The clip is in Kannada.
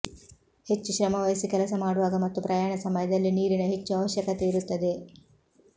ಹೆಚ್ಚು ಶ್ರಮವಹಿಸಿ ಕೆಲಸ ಮಾಡುವಾಗ ಮತ್ತು ಪ್ರಯಾಣ ಸಮಯದಲ್ಲಿ ನೀರಿನ ಹೆಚ್ಚು ಅವಶ್ಯಕತೆಯಿರುತ್ತದೆ